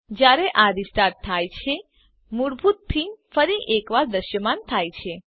જયારે આ રીસ્ટાર્ટ થાય છે મૂળભૂત થીમ ફરી એક વાર દૃશ્યમાન થાય છે